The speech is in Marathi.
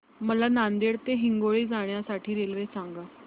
मला नांदेड ते हिंगोली जाण्या साठी रेल्वे सांगा